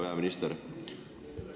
Hea peaminister!